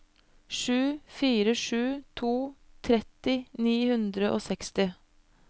sju fire sju to tretti ni hundre og seksti